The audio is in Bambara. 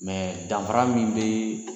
danfara min bɛ